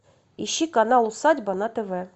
ищи канал усадьба на тв